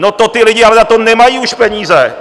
No, to ty lidi ale na to nemají už peníze.